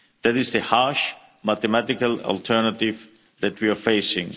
That is the harsh mathematical alternative that we are